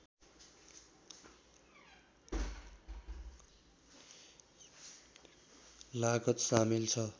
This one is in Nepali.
लागत सामेल छ